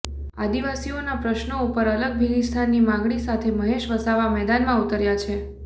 આદિવાસીઓના પ્રશ્નો ઉપર અલગ ભીલીસ્થાન ની માગણી સાથે મહેશ વસાવા મેદાનમાં ઉતર્યા છે